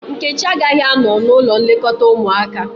Nkechi agaghị anọ n´ụlọ nlekọta ụmụaka.